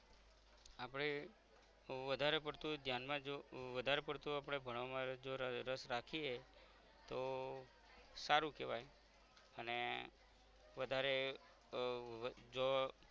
આપદે વધારે પરતું ધ્યાન માં જો વધારે પડતું આપરે ભણવામાં જો અમ રસ રાખીએ તો સારુ કહેવાઈ અને વધારે ઉહ જો